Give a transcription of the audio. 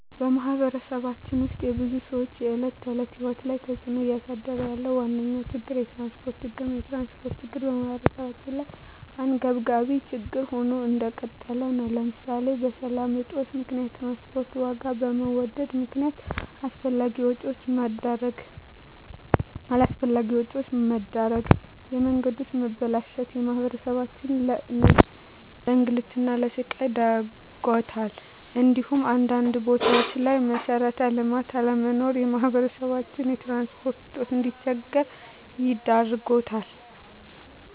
በማህበረሰባችን ውስጥ የብዙ ሰዎች የዕለት ተዕለት ህይወት ላይ ተፅእኖ እያሳደረ ያለው ዋነኛ ችግር የትራንስፖርት ችግር ነው። የትራንስፖርት ችግር በማህበረሰባችን ላይ አንገብጋቢ ችግር ሆኖ እንደቀጠለ ነው ለምሳሌ በሰላም እጦት ምክንያት የትራንስፖርት ዋጋ በመወደድ ምክነያት አላስፈላጊ ወጪዎች መዳረግ፣ የመንገዶች መበላሸት ማህበረሰባችንን ለእንግልትና ለስቃይ ዳርጓታል እንዲሁም አንዳንድ ቦታዎች ላይ መሠረተ ልማት አለመኖር ማህበረሰባችን በትራንስፖርት እጦት እንዲቸገር ዳርጎታል።